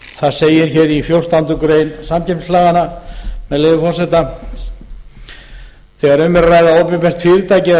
það segir hér í fjórtándu greinar samkeppnislaganna með leyfi forseta þegar um er að ræða opinbert fyrirtæki eða fyrirtæki